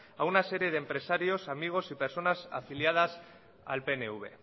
a una serie de empresarios amigos y personas afiliadas al pnv